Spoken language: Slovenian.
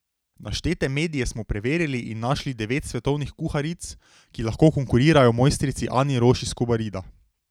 Naštete medije smo preverili in našli devet svetovnih kuharic, ki lahko konkurirajo mojstrici Ani Roš iz Kobarida.